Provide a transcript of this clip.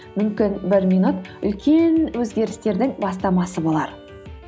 мүмкін бір минут үлкен өзгерістердің бастамасы болар